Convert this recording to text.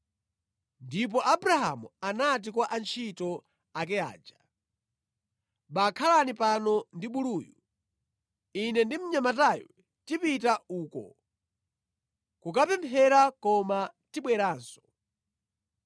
Ndipo Abrahamu anati kwa antchito ake aja, “Bakhalani pano ndi buluyu. Ine ndi mnyamatayu tipita uko kukapemphera, koma tibweranso.”